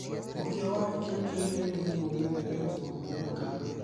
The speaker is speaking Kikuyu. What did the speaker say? ũkĩa wa gĩkĩro kĩa igũrũ nĩ ũndũ ũmenyeretwo kuonekana.